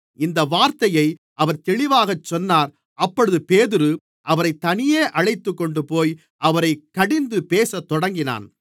இந்த வார்த்தையை அவர் தெளிவாகச் சொன்னார் அப்பொழுது பேதுரு அவரைத் தனியே அழைத்துக்கொண்டுபோய் அவரைக் கடிந்துபேசத் தொடங்கினான்